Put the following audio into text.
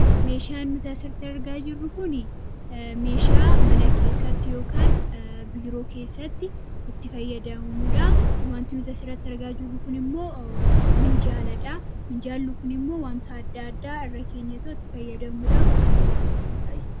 meeshaan nutaasiratti argaa jirru kun meeshaa mana keessatti yookaan biiroo keessatti itti fayyadamnuudha wantii nuti asirratti argaa jirru kun immoo minjaaladhaa minjaalli kun immoo wanta adda addaa irra keenyatoo itti fayyadamuudhaaf kan nu gargaarudha